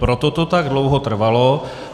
Proto to tak dlouho trvalo.